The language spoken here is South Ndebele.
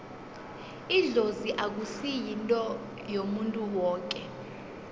idlozi akusi yinto yomuntu woke